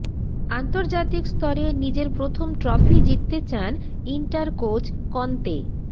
আন্তর্জাতিক স্তরে নিজের প্রথম ট্রফি জিততে চান ইন্টার কোচ কন্তে